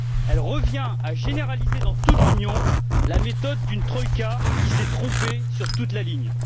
Elle revient à généraliser dans toute l'Union la méthode d'une troïka qui s'est trompée sur toute la ligne.